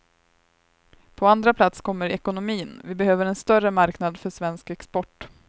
På andra plats kommer ekonomin, vi behöver en större marknad för svensk export.